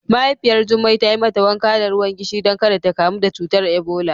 Mahaifiyar Jummai ta yi mata wanka da ruwan gishiri don ƙada ta ƙamu da cutar Ebola.